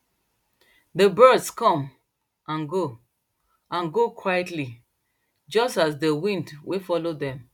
dey birds come and go and go quietlyjust as dey wind wey follow dem